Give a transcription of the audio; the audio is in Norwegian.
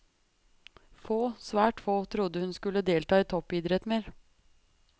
Få, svært få, trodde hun skulle delta i toppidrett mer.